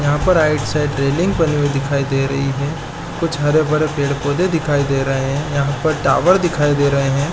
यहाँ पर right side railing बनी हुई दिखाई दे रही है कुछ हरे -भरे पेड़ -पौधे दिखाई दे रहे है यहाँ पर टावर दिखाई दे रहे हैं ।